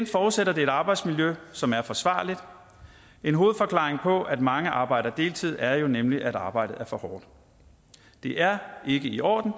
forudsætter det et arbejdsmiljø som er forsvarligt en hovedforklaring på at mange arbejder deltid er jo nemlig at arbejdet er for hårdt det er ikke i orden